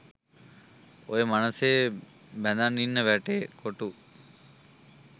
ඔය මනසේ බැඳන් ඉන්න වැට කොටු